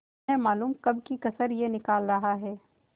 न मालूम कब की कसर यह निकाल रहा है